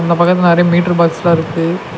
இந்தப் பக்கத்ல நறைய மீட்டர் பாக்ஸ்லா இருக்கு.